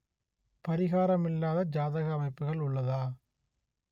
பரிகாரம் இல்லாத ஜாதக அமைப்புகள் உள்ளதா